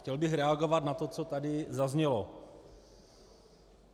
Chtěl bych reagovat na to, co tady zaznělo.